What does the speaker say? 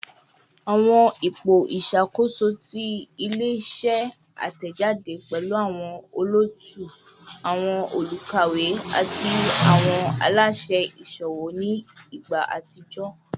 Awọn ipo iṣakoso ti ile-iṣẹ atẹjade pẹlu awọn olootu, awọn olukawe, ati awọn alaṣẹ iṣowo ni igba atijọ